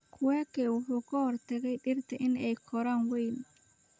Kweke wuxuu ka hortagay dhirta inay koraan weyn